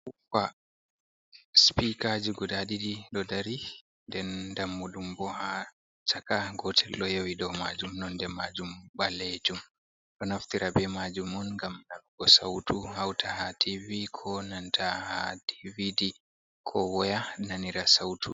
Sipikajii guda ɗiɗi ɗodari, den dammuɗumboo, ha chaka, gotel ɗo yeewi dou maajuum nonde maajuum ɓaleejuum, ɗo naftira be maajuumun gam waɗuugo sautu hauta ha tivi ko nanta ha dividi, ko woya nanira sautu.